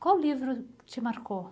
Qual livro te marcou?